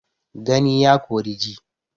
Gani ya Kori ji